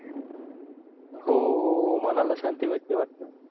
हो मनाला शांती भेटत वाटत